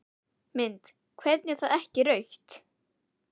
Mynd: Hvernig er þetta ekki rautt?